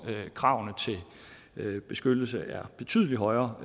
kravene til beskyttelse er betydelig højere